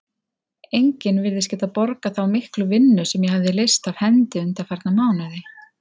Enginn virðist geta borgað þá miklu vinnu sem ég hefi leyst af hendi undanfarna mánuði.